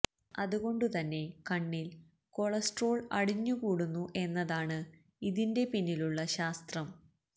അതുകൊണ്ടു തന്നെ കണ്ണിൽ കൊളസ്ട്രോൾ അടിഞ്ഞുകൂടുന്നു എന്നതാണ് ഇതിന്റെ പിന്നിലുള്ള ശാസ്ത്രം